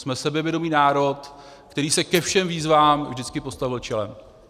Jsme sebevědomý národ, který se ke všem výzvám vždycky postavil čelem.